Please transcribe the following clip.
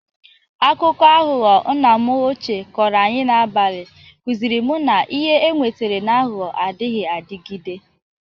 Akụkọ aghọghọ nna m ochie kọrọ anyị n'abalị kụzịrị m na ihe enwetara n'aghọghọ adịghị adịgide.